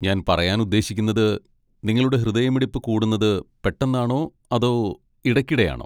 ഞാൻ പറയാൻ ഉദ്ദേശിക്കുന്നത്, നിങ്ങളുടെ ഹൃദയമിടിപ്പ് കൂടുന്നത് പെട്ടെന്നാണോ അതോ ഇടയ്ക്കിടെയാണോ?